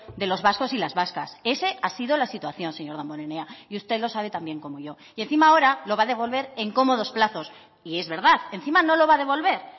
de los vascos y las vascas esa ha sido la situación señor damborenea y usted lo sabe tan bien como yo y encima ahora lo va a devolver en cómodos plazos y es verdad encima no lo va a devolver